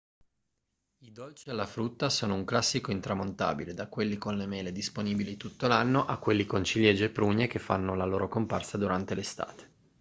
i dolci alla frutta sono un classico intramontabile da quelli con le mele disponibili tutto l'anno a quelli con ciliegie e prugne che fanno la loro comparsa durante l'estate